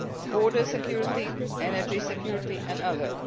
border security, energy security, and others.